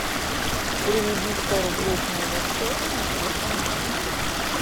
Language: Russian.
переведи сто рублей с моего счета на телефон маме